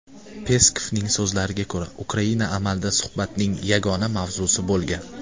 Peskovning so‘zlariga ko‘ra, Ukraina amalda suhbatning yagona mavzusi bo‘lgan.